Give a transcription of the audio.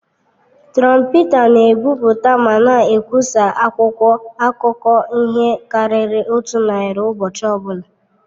Trọmpeta na-ebipụta ma na-ekwụsa akwụkwọ akụkọ ihe karịrị otu narị ụbọchị ọbụla.